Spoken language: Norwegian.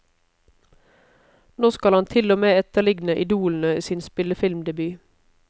Nå skal han til og med etterligne idolene i sin spillefilmdebut.